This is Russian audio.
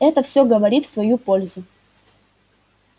это всё говорит в твою пользу